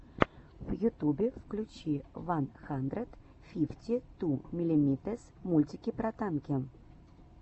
в ютубе включи ван хандрэд фифти ту миллимитэс мультики про танки